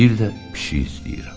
Bir də pişik istəyirəm.